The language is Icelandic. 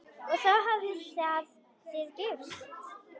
Og þá hafið þið gifst?